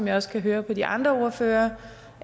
jeg også høre på de andre ordførere